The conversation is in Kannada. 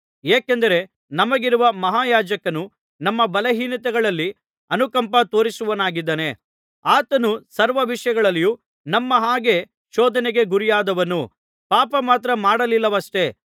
ಏಕೆಂದರೆ ನಮಗಿರುವ ಮಹಾಯಾಜಕನು ನಮ್ಮ ಬಲಹೀನತೆಗಳಲ್ಲಿ ಅನುಕಂಪ ತೋರಿಸುವವನಾಗಿದ್ದಾನೆ ಆತನು ಸರ್ವ ವಿಷಯಗಳಲ್ಲಿಯೂ ನಮ್ಮ ಹಾಗೆ ಶೋಧನೆಗೆ ಗುರಿಯಾದವನು ಪಾಪ ಮಾತ್ರ ಮಾಡಲಿಲ್ಲವಷ್ಟೇ